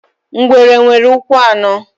Ngwere nwere ụkwụ anọ.